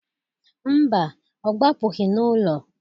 Mba, ọ gbapụgị n'ụlọ.